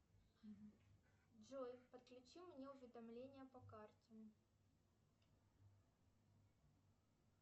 джой подключи мне уведомления по карте